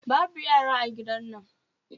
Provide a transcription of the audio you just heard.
Babu yara a gidan nan